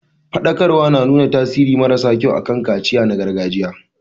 Faɗakarwar na nuna tasiri mara sa kyau akan kaciya na gargajiya.